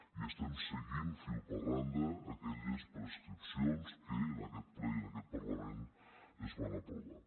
i estem seguint fil per randa aquelles prescripcions que en aquest ple i en aquest parlament es van aprovar